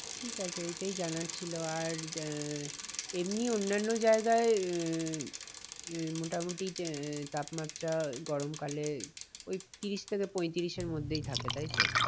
ঠিক আছে এটাই জানার ছিল আর আহ এমনি অন্যান্য জায়গায় আহ আহ মোটামুটি আহ তাপমাত্রা গরম কালে ওই ত্রিশ থেকে পঁয়ত্রিশের মধ্যেই থাকে তাই তো?